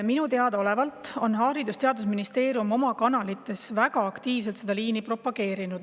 Minule teadaolevalt on Haridus- ja Teadusministeerium oma kanalite kaudu seda liini väga aktiivselt propageerinud.